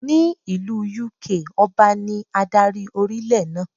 Ní ìlú Yúkaà, Ọba ní adarí orílẹ̀ náà.